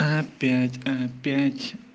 опять опять